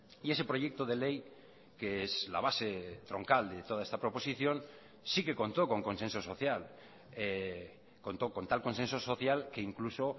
y ese proyecto de ley que es la base troncal de toda esta proposición sí que contó con consenso social contó con tal consenso social que incluso